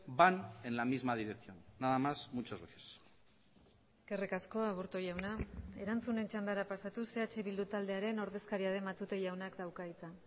van en la misma dirección nada más muchas gracias eskerrik asko aburto jauna erantzunen txandara pasatuz eh bildu taldearen ordezkaria den matute jaunak dauka hitza